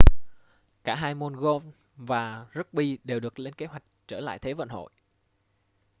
cả hai môn golf và rugby đều được lên kế hoạch trở lại thế vận hội